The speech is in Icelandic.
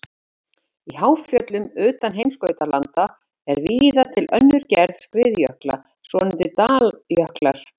Í háfjöllum utan heimskautalanda er víða til önnur gerð skriðjökla, svonefndir daljöklar.